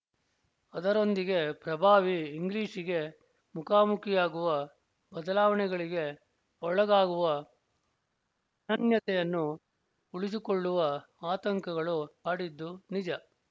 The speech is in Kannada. ಅದರೊಂದಿಗೆ ಪ್ರಭಾವಿ ಇಂಗ್ಲೀಷ್ಗೆ ಮುಖಾಮುಖಿಯಾಗುವ ಬದಲಾವಣೆಗಳಿಗೆ ಒಳಗಾಗುವ ಅನನ್ಯತೆಯನ್ನು ಉಳಿಸಿಕೊಳ್ಳುವ ಆತಂಕಗಳು ಕಾಡಿದ್ದೂ ನಿಜ